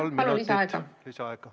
Kolm minutit lisaaega.